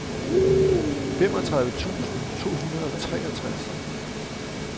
femogtredive tusind to hundrede og treogtres